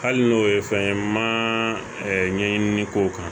Hali n'o ye fɛn ye ma ɲɛɲinili k'o kan